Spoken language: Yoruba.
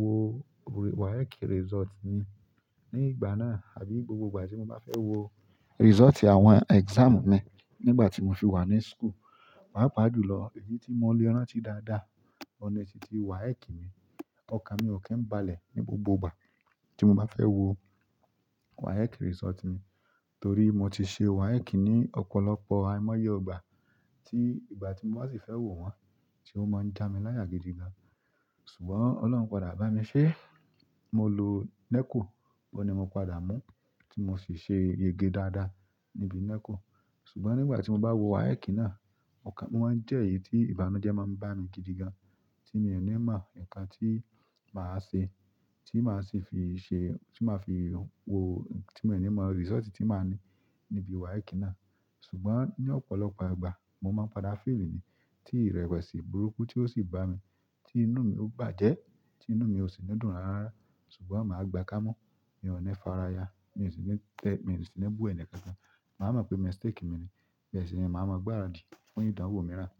wo WAEC result ni. Ní ìgbà náà àbí gbogbo ìgbà tí mo bá fẹ́ wo result àwọn exam mi nígbà tí mo fi wà ní school, pàápa jùlọ èyí tí mo lè rántí dáadáa. Oun ni titi WAEC mi, ọkàn mi ò kí ń balẹ̀ ní gbogbo ìgbà tí mo bá fẹ́ wo WAEC result mi. Torí mo ti ṣe WAEC ní ọ̀pọ̀lọpọ̀ àìmọye ìgbà tí ìgbà tí mo bá sì fẹ́ wo wọ́n, tí ó máa ń já mi láyà gidigan. Ṣùgbọ́n oloun padà bami se mo lo NECO oun ni mo padà mu ti mo si se yege daada ni bi NECO. Ṣùgbọ́n nígbà tí mo bá wo WAEC náà, ọkàn mi máa ń jẹ́ èyí tí ìbànújẹ́ máa ń bá mi gidigan, tí mi o è ní mọ ǹkan tí màá ṣe, tí màá sì fi ṣe, tí màá fi wo, tí mi o ní mọ result tí màá ní níbi WAEC náà. Ṣùgbọ́n ni ọ̀pọ̀lọpọ̀ ìgbà mo maa n padà fail ni ti irewesi burúkú ti o si bami ti inú mi o bàjẹ́ ti inú mi osi ni dùn rara rara. Ṣùgbọ́n màá gbà kámu, mi ò ní faraya, mi ò sì ní tẹ, mi ò sì ní bu ẹni kankan. Màá mọ̀ pé mistake mi ni, bẹ́ẹ̀ sì ni màá mọ̀ gbara dí fún ìdánwò mi rán.